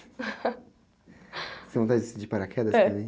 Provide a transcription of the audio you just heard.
Você tem vontade de descer de paraquedas também?.